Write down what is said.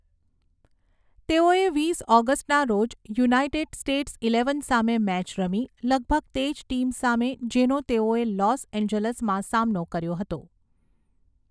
તેઓએ વીસ ઓગસ્ટના રોજ યુનાઇટેડ સ્ટેટ્સ ઇલેવન સામે મેચ રમી, લગભગ તે જ ટીમ સામે જેનો તેઓેએ લોસ એન્જલસમાં સામનો કર્યો હતો.